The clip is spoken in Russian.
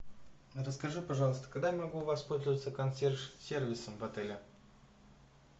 расскажи пожалуйста когда я могу воспользоваться консьерж сервисом в отеле